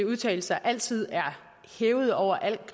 udtalelser altid er hævet over al